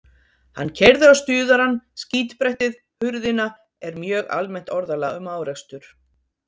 Hann keyrði á stuðarann, skítbrettið, hurðina er mjög almennt orðalag um árekstur.